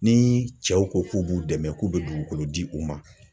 Ni cɛw ko k'u b'u dɛmɛ k'u bɛ dugukolo di u ma.